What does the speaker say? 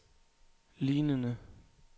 lignende